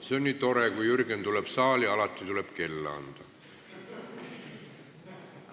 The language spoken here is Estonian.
See on nii tore, et kui Jürgen tuleb saali, on alati vaja kella anda.